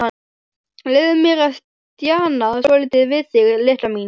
Leyfðu mér að stjana svolítið við þig, litla mín.